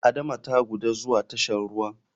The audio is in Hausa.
Adama ta guda zuwa tashan ruwan.